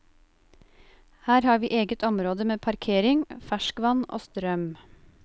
Her har vi eget område med parkering, ferskvann og strøm.